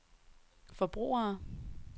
forbrugere